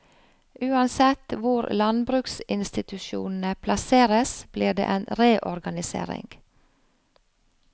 Uansett hvor landbruksinstitusjonene plasseres blir det en reorganisering.